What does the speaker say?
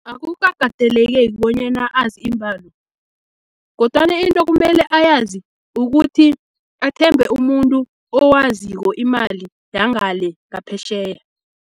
Akukakateleleki bonyana azi iimbalo, kodwana into kumele ayazi ukuthi, athembe umuntu owaziko imali yangale ngaphetjheya.